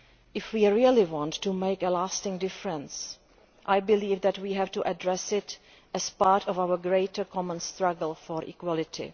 If we really want to make a lasting difference then I believe that we have to address it as part of our greater common struggle for equality.